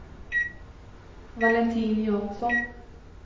Valentin Jansson